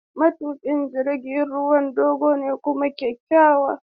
Matukin jirgin ruwan dogo kuma kyakkyawa.